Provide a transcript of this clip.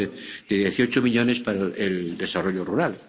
perdón, de 18 millones para el desarrollo rural.